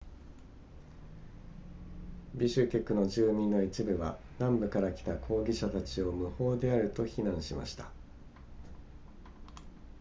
ビシュケクの住民の一部は南部から来た抗議者たちを無法であると非難しました